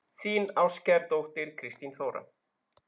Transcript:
Þín ástkær dóttir, Kristín Þóra.